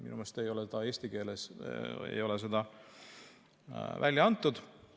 Minu meelest ei ole eesti keeles seda välja antud.